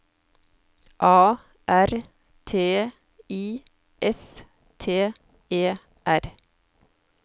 A R T I S T E R